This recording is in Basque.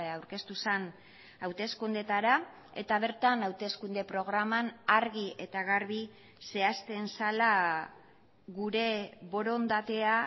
aurkeztu zen hauteskundeetara eta bertan hauteskunde programan argi eta garbi zehazten zela gure borondatea